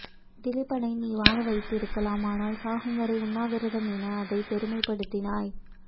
திலிபனை நீ வாழ வைத்திருக்கலாம் ஆனால் சாகும்வரை உண்ணாவிரதம் என அதை பெருமைப்படுத்தினாய்